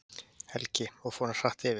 Helgi: Og fór hann hratt yfir?